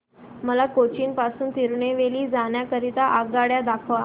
मला कोचीन पासून तिरूनेलवेली जाण्या करीता आगगाड्या दाखवा